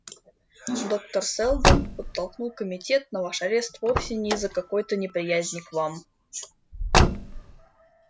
доктор сэлдон подтолкнул комитет на ваш арест вовсе не из-за какой-то неприязни к вам